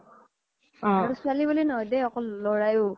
আৰু ছোৱালী বুলি নহয় দেই আৰু লৰাইয়ো